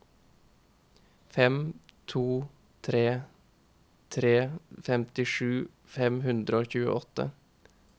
fem to tre tre femtisju fem hundre og tjueåtte